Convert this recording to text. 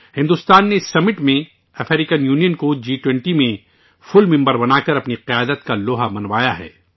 بھارت نے اس سربراہ اجلاس میں افریقی یونین کو جی 20کا مکمل رکن بنا کر اپنی قیادت ثابت کی ہے